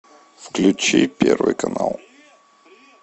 включи первый канал